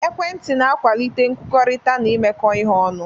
Ekwentị na-akwalite nkwukọrịta na imekọ ihe ọnụ.